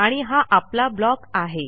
आणि हा आपला ब्लॉक आहे